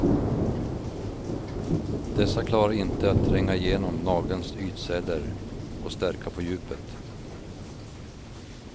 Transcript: Dessa klarar inte att tränga igenom nagelns ytceller och stärka på djupet.